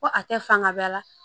Ko a tɛ fangan bɛɛ la